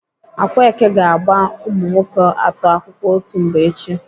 Akwaeke ga-agba umunwoke atọ akwụkwọ otu mgbe echi.